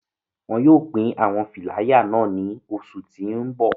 Wọn yóò pin awọn filaya nàa ni oṣu ti n bọ